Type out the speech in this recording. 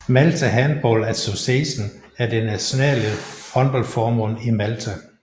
Malta Handball Association er det nationale håndboldforbund i Malta